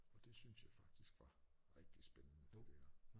Og det syntes jeg faktisk var rigtig spændende det dér